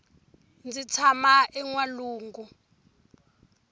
ndzi tshama enwalungu